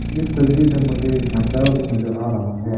इस तस्वीर में मुझे झंडा भी नजर आ रहा है।